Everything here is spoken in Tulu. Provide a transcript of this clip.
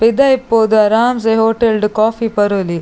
ಪಿದೈ ಪೋದು ಅರಾಂಸೆ ಹೋಟೇಲ್ಡು ಕಾಫಿ ಪರೊಲಿ.